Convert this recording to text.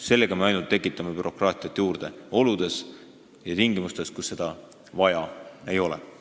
Selle eelnõuga me tekitame bürokraatiat ainult juurde oludes ja tingimustes, kus seda vaja ei ole.